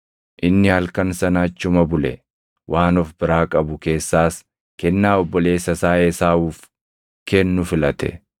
Inni halkan sana achuma bule; waan of biraa qabu keessaas kennaa obboleessa isaa Esaawuuf kennu filate;